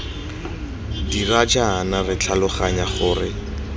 dira jaana re tlhaloganya gore